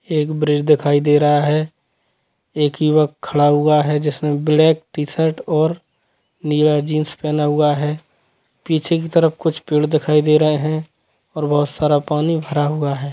एक ब्रिज दिखाई दे रहा है एक युवक खड़ा हुआ है जिसने ब्लैक टी-शर्ट और नीला जिन्स पहना हुआ है पीछे की तरफ कुछ पेड़ दिखाई दे रहे है और बहुत सारा पानी भरा हुआ है।